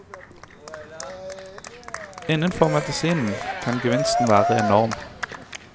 Innenfor medisinen kan gevinsten være enorm.